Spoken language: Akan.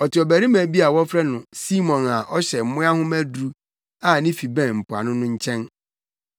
Ɔte ɔbarima bi a wɔfrɛ no Simon a ɔhyɛ mmoa nhoma aduru a ne fi bɛn mpoano no nkyɛn.”